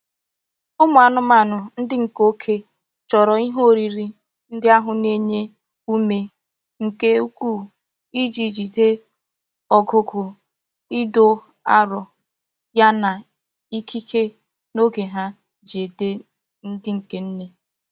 Umu anumanu ndi nke oke choro ihe oriri ndi ahu na-enye ume nke ukuu Iji jigide ogugo Ido aro Yana ikike n'oge ha ji ede ndi nke nne.